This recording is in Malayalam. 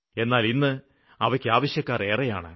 എന്നാല് ഇന്ന് അവയ്ക്കാവശ്യക്കാര് ഏറെയാണ്